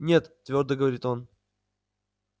нет твёрдо говорит он